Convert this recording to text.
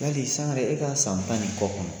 Yali Sangare e ka san tan ni kɔ kɔnɔ